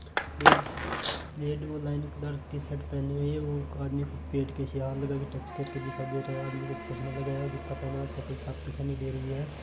Red red वो line t-shirt पहनी हुई है वो और ये खुद पेट किसे अलग आके टच करके दिखा दे रहा है आदमी का चश्मा लगाया है और जूता पहना हुआ है साइकल साफ दिखाई नहीं दे रहीं हैं।